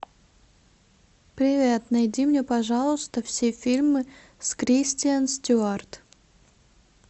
привет найди мне пожалуйста все фильмы с кристен стюарт